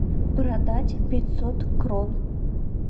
продать пятьсот крон